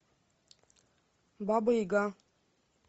баба яга